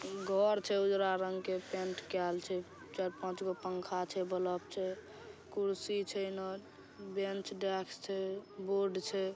घर छै उजरा रंग के पेंट कऐल छै। चार पांच गो पंखा छै बल्ब छै कुर्सी छै ना। बेंच डेस्क छै बोर्ड छै।